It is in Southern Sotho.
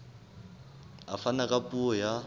a fana ka puo ya